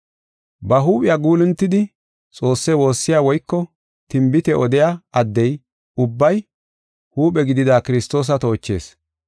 Ba huuphiya guuluntidi Xoosse woossiya woyko tinbite odiya addey ubbay huuphe gidida Kiristoosa toochees.